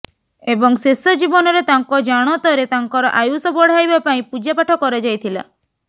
ଏବଂ ଶେଷ ଜୀବନରେ ତାଙ୍କ ଜାଣତରେ ତାଙ୍କର ଆୟୁଷ ବଢ଼ାଇବା ପାଇଁ ପୂଜାପାଠ କରାଯାଇଥିଲା